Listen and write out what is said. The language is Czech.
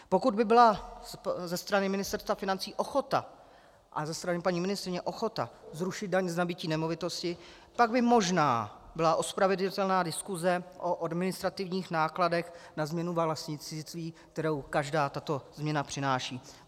Pokud by byla ze strany Ministerstva financí ochota a ze strany paní ministryně ochota zrušit daň z nabytí nemovitosti, pak by možná byla ospravedlnitelná diskuse o administrativních nákladech na změnu vlastnictví, kterou každá tato změna přináší.